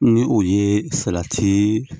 Ni o ye salati